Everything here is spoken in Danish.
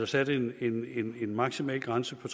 sat en maksimal grænse på